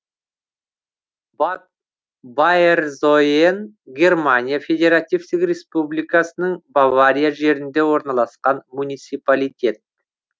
бад байерзойен германия федеративтік республикасының бавария жерінде орналасқан муниципалитет